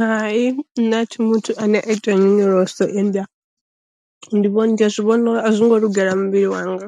Hai nṋe a thi muthu ane a ita nyonyoloso ende ndi vhona ndiya zwi vhona a zwo ngo lugela muvhili wanga